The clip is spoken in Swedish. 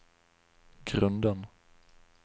grunden